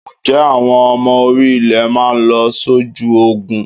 Ǹjẹ́ àwọn ọmọ orí-ilẹ̀ máa lọ sójú Ogun?